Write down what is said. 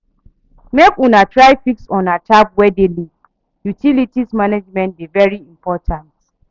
Make una try fix una tap wey dey leak, utilities management dey very important.